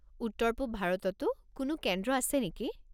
উত্তৰ-পূৱ ভাৰততো কোনো কেন্দ্ৰ আছে নেকি?